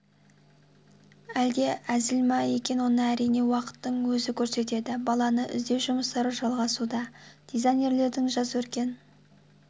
әлде әзіл ма екен оны әрине уақыттың өзі көрсетеді баланы іздеу жұмыстары жалғасуда дизайнерлердің жас өркен